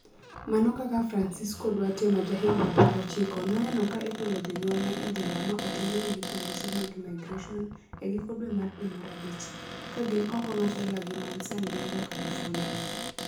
Mana kaka Francisco Duarte ma jahigini 19 noneno ka igolo jonyuolne e jela ma otergi gi polise mag Immigration e giko dwe mar dwe mar abich, ka gin oko mar dalagi man San Diego, California,